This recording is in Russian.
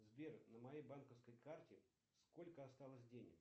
сбер на моей банковской карте сколько осталось денег